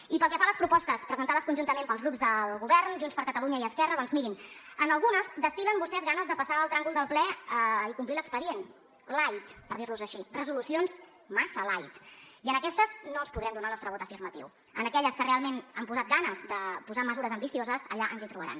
i pel que fa a les propostes presentades conjuntament pels grups del govern junts per catalunya i esquerra doncs mirin en algunes destil·len vostès ganes de passar el tràngol del ple i complir l’expedient light per dir ho així resolucions massa lightrealment han posat ganes de posar mesures ambicioses allà ens hi trobaran